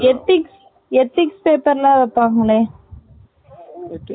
ethics ethics paper லாம் வைப்பங்களே